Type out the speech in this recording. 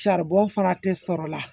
Saribɔn fana tɛ sɔrɔ la